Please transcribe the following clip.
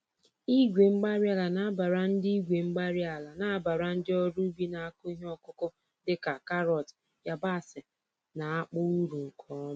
Igwe-mgbárí-ala nabara ndị Igwe-mgbárí-ala nabara ndị ọrụ ubi na-akụ ihe ọkụkụ dị ka karọt, yabasị, na akpụ, uru nke ọma